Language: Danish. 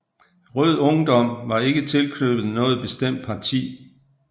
Rød Ungdom var ikke tilknyttet noget bestemt parti